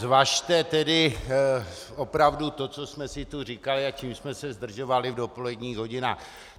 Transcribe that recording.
Zvažte tedy opravdu to, co jsme si tu říkali a čím jsme se zdržovali v dopoledních hodinách.